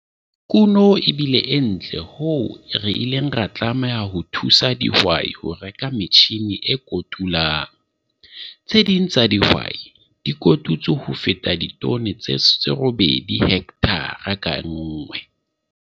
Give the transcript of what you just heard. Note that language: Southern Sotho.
Kuno e bile ntle hoo re ileng ra tlameha ho thusa dihwai ho reka metjhine e kotulang - tse ding tsa dihwai di kotutse ho feta ditone tse 8 hekthara ka nngwe.